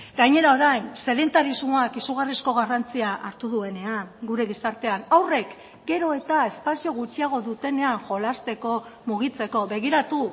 gainera orain sedentarismoak izugarrizko garrantzia hartu duenean gure gizartean haurrek gero eta espazio gutxiago dutenean jolasteko mugitzeko begiratu